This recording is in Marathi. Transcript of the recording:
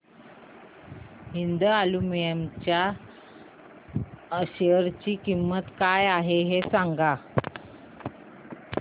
हिंद अॅल्युमिनियम च्या शेअर ची किंमत काय आहे हे सांगा